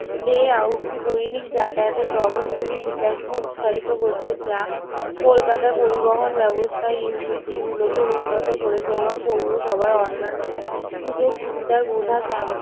layout টি দৈনিক যাতায়াতের ধরনগুলির বিকাশকে উৎসাহিত করছে যা কলকাতা পরিবহন ব্যবস্থা গুলিকে উন্নত করেছে এবং পৌরসভার অন্যান্য সুযোগ সুবিধা বোঝা